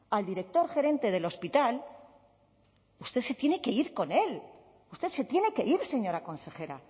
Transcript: al director gerente del hospital usted se tiene que ir con él usted se tiene que ir señora consejera